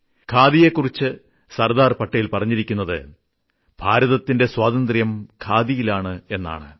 ഖാദിയെക്കുറിച്ച് സർദാർ പട്ടേൽ പറഞ്ഞിരിക്കുന്നത് ഭാരതത്തിന്റെ സ്വാതന്ത്ര്യം ഖാദിയിലാണ്